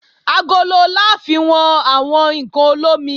Agolo la fi wọn àwọn ǹkan olómi